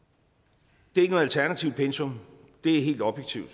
det er ikke noget alternativt pensum det er helt objektivt